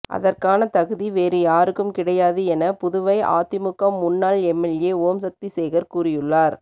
அதற்கான தகுதி வேறு யாருக்கும் கிடையாது என புதுவை அதிமுக முன்னாள் எம்எல்ஏ ஓம்சக்தி சேகர் கூறியுள்ளார்